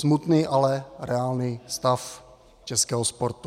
Smutný, ale reálný stav českého sportu.